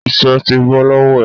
Isẹ́ ti bọ́ lọ́wọ́ ẹ